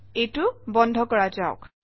এইটো বন্ধ কৰা যাওক